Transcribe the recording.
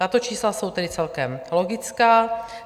Tato čísla jsou tedy celkem logická.